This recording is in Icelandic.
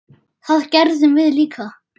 Það gerðum við líka.